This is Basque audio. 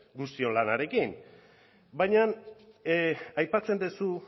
guztion lanarekin baina aipatzen duzu